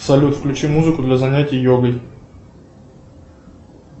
салют включи музыку для занятий йогой